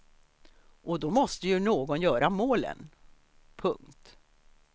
Och då måste ju någon göra målen. punkt